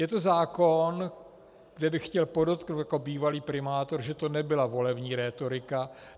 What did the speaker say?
Je to zákon, kde bych chtěl podotknout jako bývalý primátor, že to nebyla volební rétorika.